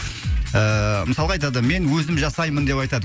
ыыы мысалға айтады мен өзім жасаймын деп айтады